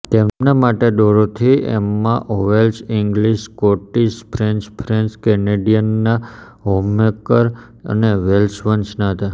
તેમની માતા Dorothy Emma Howell English Scottish French French કેનેડીયનના હોમમેકર અને વેલ્શ વંશના હતા